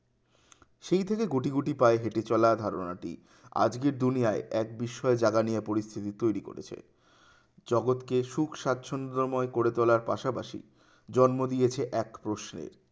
সেই থেকে গুটি গুটি পায়ে হেঁটে চলা ধারণাটি আজকের দুনিয়ায় এক বিস্ময় জাগা নিয়ে পরিস্থিতি তৈরি করেছে, জগতকে সুখ স্বাচ্ছন্দময় করে তোলার পাশাপাশি জন্ম দিয়েছে এক প্রশ্নের